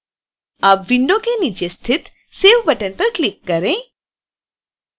अब विंडो के नीचे स्थित save बटन पर क्लिक करें